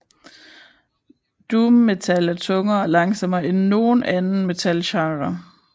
Doom metal er tungere og langsommere end nogen anden metalgenre